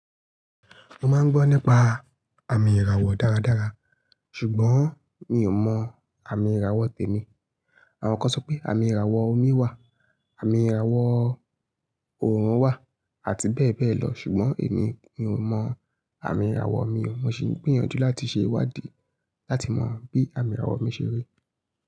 Mo máa ń gbọ́ nípa àmì ìràwọ̀ dáradára, ṣùgbọ́n mi ò mọ àmì ìràwọ̀ tèmi. Àwọn kan sọ pé àmì ìràwọ̀ omi wà, àmì ìràwọ̀ òórùn wà, àti bẹ́ẹ̀ bẹ́ẹ̀ lọ, ṣùgbọ́n èmi mi ò mọ àmì ìràwọ̀ mi. Mo sì ń gbìyànjú láti ṣe ìwádì láti mọ bí àmì ìràwọ̀ mi ṣe rí.